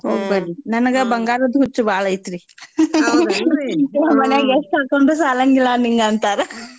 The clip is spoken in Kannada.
ಬಂಗಾರದ್ ಹುಚ್ಚು ಬಾಳೈತ್ರಿ ನಮ್ಮನ್ಯಾಗ್ ಎಷ್ಟ್ ಹಾಕ್ಕೊಂಡ್ರೂ ಸಾಲಂಗಿಲ್ಲ ನಿಂಗ ಅಂತಾರ